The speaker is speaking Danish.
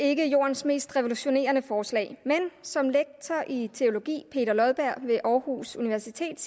ikke jordens mest revolutionerende forslag men som lektor i teologi ved aarhus universitet